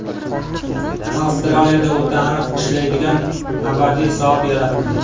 Avstraliyada o‘ta aniq ishlaydigan abadiy soat yaratildi.